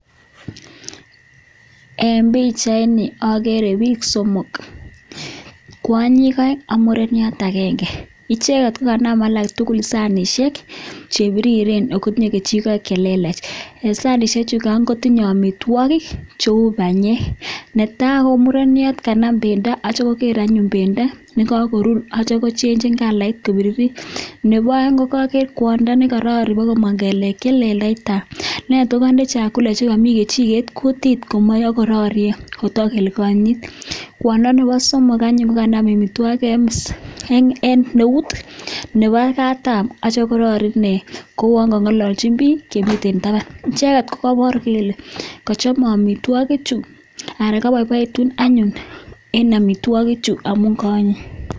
eng pichaiini agere pik somok kwanyiik aeek ak murenikicheget kokanam chitugul sanisheek kokapaaa komin laindaaa kotaach amitwagik mitei chekaanam amitwagik ako rarie ako amishee koraa